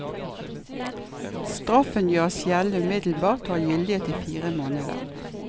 Straffen gjøres gjeldende umiddelbart, og har gyldighet i fire måneder.